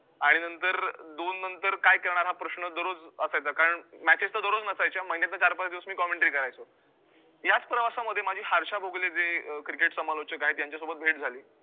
आणि नंतर दोननंतर काय करणार हा प्रश्न दररोज असायचा, कारण matches तर दररोज नसायच्या, महिन्यातं चार पाच दिवस मी commentary करायचो, याच प्रवासामध्ये माझी हर्षा भोगले जे अं cricket समालोचक आहे यांच्यासोबत भेट झाली.